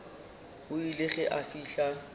o ile ge a fihla